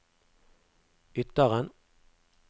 Ytteren